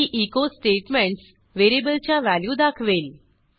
ही echo statements व्हेरिएबलच्या value दाखवेल